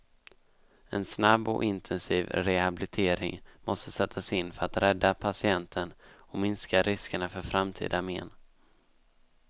En snabb och intensiv rehabilitering måste sättas in för att rädda patienten och minska riskerna för framtida men.